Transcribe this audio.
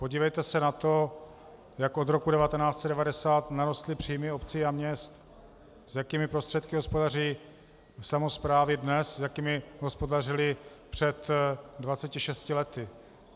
Podívejte se na to, jak od roku 1990 narostly příjmy obcí a měst, s jakými prostředky hospodaří samosprávy dnes, s jakými hospodařily před 26 lety.